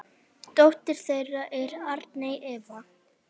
Dóttir þeirra er Arney Eva.